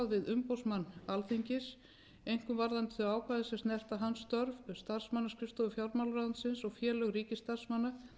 umboðsmann alþingis einkum varðandi ákvæði sem snerta hans störf starfsmannaskrifstofu fjármálaráðuneytis og félög ríkisstarfsmanna